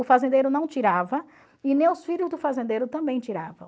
O fazendeiro não tirava e nem os filhos do fazendeiro também tiravam.